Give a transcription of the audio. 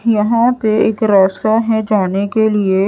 यहां पे एक रास्ता है जाने के लिए।